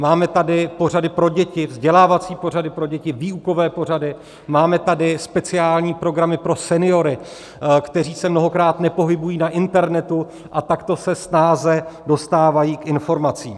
Máme tady pořady pro děti, vzdělávací pořady pro děti, výukové pořady, máme tady speciální programy pro seniory, kteří se mnohokrát nepohybují na internetu a takto se snáze dostávají k informacím.